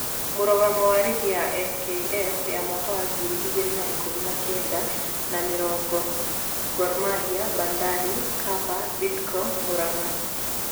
Mũrũgamo wa rigi ya FKF ya Mwaka wa ngiri igĩrĩ na ikũmi na kenda na mĩrongo:Gor Mahia, Bandari, Kapa, Bidco, Muranga.